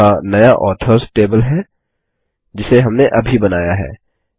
यहाँ नया authors table है जिसे हमने अभी बनाया है